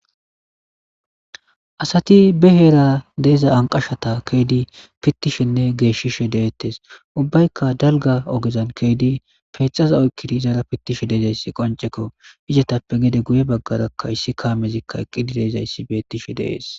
asati be heera deeza anqashata keedi pittishenne geeshishe deettes ubbaykka dalga ogezan keeydi peexaza oykkidi izaara pittishe deezayssi qoncekko izatappe gede guye baggarakka issi kaamezikka eqqi dileezayssi beettishe deees